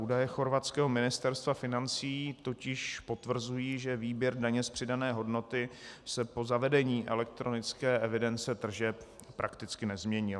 Údaje chorvatského Ministerstva financí totiž potvrzují, že výběr daně z přidané hodnoty se po zavedení elektronické evidence tržeb prakticky nezměnil.